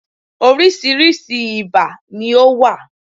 Oríṣiríṣi ibà ni ó wà.